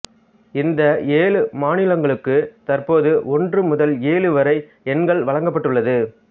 இந்த ஏழு மாநிலங்களுக்குத் தற்போது ஒன்று முதல் ஏழு வரை எண்கள் வழங்கப்பட்டுள்ளது